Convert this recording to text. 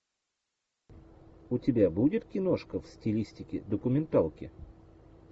у тебя будет киношка в стилистике документалки